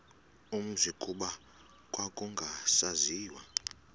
umzi kuba kwakungasaziwa